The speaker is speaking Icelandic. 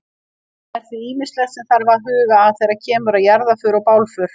Það er því ýmislegt sem þarf að huga að þegar kemur að jarðarför og bálför.